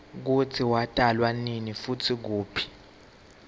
kutsi watalwanini futsi kuphi